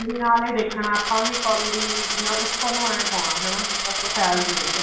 ਨੀ ਦੇਖਣਾ ਆਪਾਂ ਕੋਲੀ ਉੱਪਰ ਨੂੰ ਏਵੇਂ ਪਾਉਣਾ ਹਨਾ ਤਾਂਕਿ ਫੈਲ ਜਾਵੇ ਉੱਤੇ